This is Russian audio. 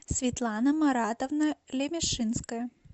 светлана маратовна лемешинская